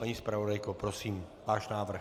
Paní zpravodajko, prosím, váš návrh.